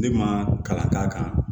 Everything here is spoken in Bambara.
Ne ma kalan k'a kan